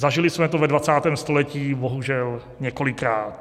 Zažili jsme to ve 20. století bohužel několikrát.